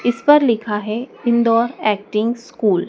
इस पर लिखा है इंदौर एक्टिंग स्कूल ।